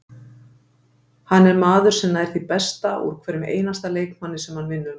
Hann er maður sem nær því besta úr hverjum einasta leikmanni sem hann vinnur með.